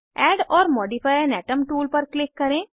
add or modify an atom tool पर click करें